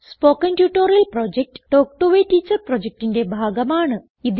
spoken tutorial project talk to a teacher പ്രൊജക്റ്റിന്റെ ഭാഗമാണ്